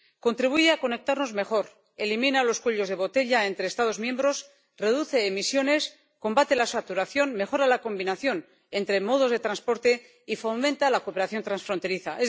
Contribuye a conectarnos mejor, elimina los cuellos de botella entre Estados miembros, reduce emisiones, combate la saturación, mejora la combinación entre modos de transporte y fomenta la cooperación transfronteriza.